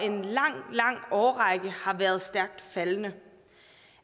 en lang lang årrække har været stærkt faldende